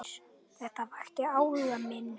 Þetta vakti áhuga minn.